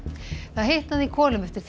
það hitnaði í kolum eftir